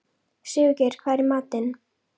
Sigurgeir, hvað er í matinn?